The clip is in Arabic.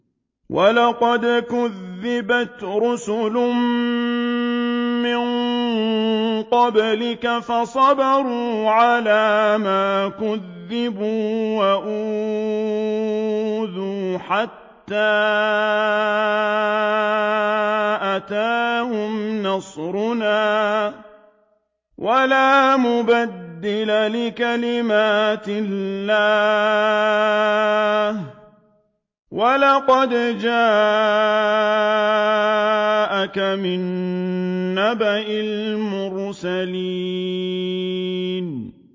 وَلَقَدْ كُذِّبَتْ رُسُلٌ مِّن قَبْلِكَ فَصَبَرُوا عَلَىٰ مَا كُذِّبُوا وَأُوذُوا حَتَّىٰ أَتَاهُمْ نَصْرُنَا ۚ وَلَا مُبَدِّلَ لِكَلِمَاتِ اللَّهِ ۚ وَلَقَدْ جَاءَكَ مِن نَّبَإِ الْمُرْسَلِينَ